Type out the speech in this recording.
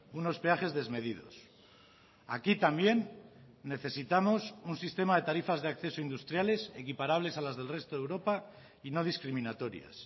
unos peajes desmedidos aquí también necesitamos un sistema de tarifas de acceso industriales equiparables a las del resto de europa y no discriminatorias